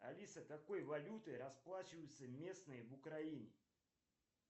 алиса какой валютой расплачиваются местные в украине